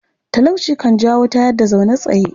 Talauci kan jawo tayar-da-zaune-tsaye.